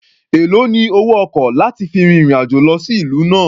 Èlòó ni owó ọkọ̀ láti fi fin ìrìn-àjò lọ sí ìlú náà?